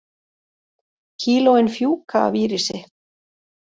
Kílóin fjúka af Írisi